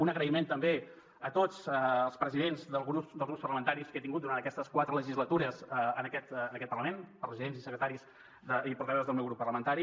un agraïment també a tots els presidents dels grups parlamentaris que he tingut durant aquestes quatre legislatures en aquest parlament presidents secretaris i portaveus del meu grup parlamentari